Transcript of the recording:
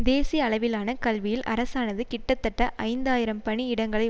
தேசிய அளவிலான கல்வியில் அரசானது கிட்டத்தட்ட ஐந்து ஆயிரம் பணி இடங்களை